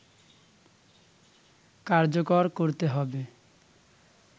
কার্যকর করতে হবে